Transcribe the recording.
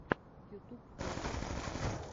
ютуб включи клипы